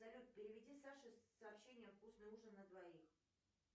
салют переведи саше сообщение вкусный ужин на двоих